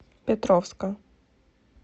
петровска